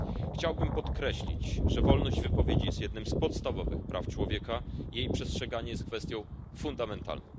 Chciałbym podkreślić, że wolność wypowiedzi jest jednym z podstawowych praw człowieka, a jej przestrzeganie jest kwestią fundamentalną.